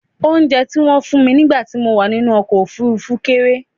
Oúnjẹ tí wọ́n fún mi nígbà tí mo wà nínú ọkọ̀ òfurufú kéré